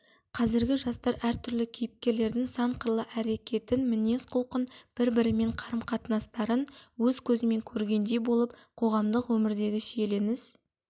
қазіргі жастар әр түрлі кейіпкерлердің сан қырлы әрекетін мінез құлқын бір-бірімен қарым-қатынастарын өз көзімен көргендей болып қоғамдық өмірдегі шиеленіс